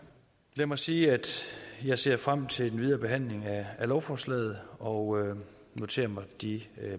lad mig sige at jeg ser frem til den videre behandling af lovforslaget og noterer mig de